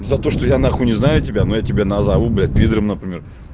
за то что я на хуй не знаю тебя но я тебя назову блядь пидаром например